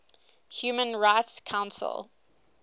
human rights council